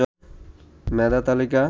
মেধা তালিকা